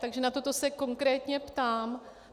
Takže na toto se konkrétně ptám.